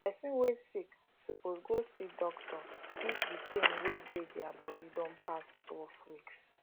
person wey sick suppose go see doctor if the pain wey dey dia body don pass twelve weeks